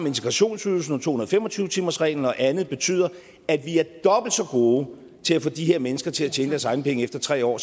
integrationsydelsen og to hundrede og fem og tyve timersreglen og andet betyder at vi er dobbelt så gode til at få de her mennesker til at tjene deres egne penge efter tre år